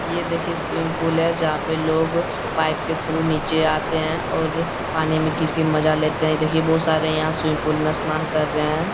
यह देखिए swimming pool है जहाँ पर लोग पाइप के थ्रू नीचे आते हैं और पानी में गिर के मजा लेते हैं देखने में बहुत सारे स्विमिंग पूल में स्नान कर रहे हैं।